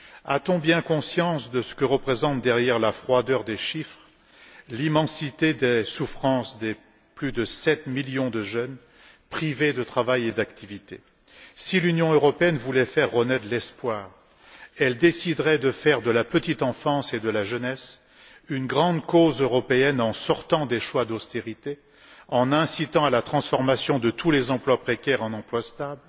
A t on bien conscience de ce que représente, derrière la froideur des chiffres, l'immensité des souffrances de plus de 7 millions de jeunes, privés de travail et d'activité? Si l'Union européenne voulait faire renaître l'espoir, elle déciderait de faire de la petite enfance et de la jeunesse une grande cause européenne en sortant des choix d'austérité, en incitant à la transformation de tous les emplois précaires en emplois stables,